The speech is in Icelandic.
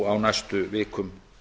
á næstu vikum